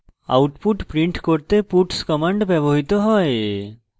output print করতে puts command ব্যবহৃত হয়